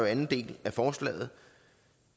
anden del af forslaget